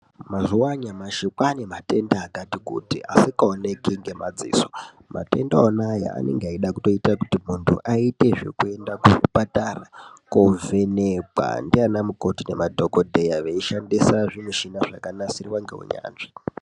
Mazuwa anyamashi kwaane matenda akati kuti asikaoneki ngemadziso. Matenda ona Aya anonga eida kutoita ekuti muntu aite zvekuenda kuchipatara koovhenekwa ndianamukoti nemadhokodheya , veishandisa zvimishina zvakanasirwa ngeunyanzvi.